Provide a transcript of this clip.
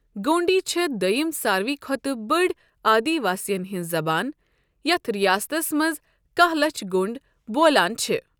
گونٛڈی چھےٚ دویِم سارِوٕے کھۄتہٕ بٔڑ آدی وٲسِین ہِنٛز زَبان، یتھ رِیاستس منٛز کہہ لَچھ گونٛڈ بولان چھِ۔